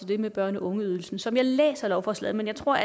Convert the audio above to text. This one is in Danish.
det med børne og ungeydelsen som jeg læser lovforslaget men jeg tror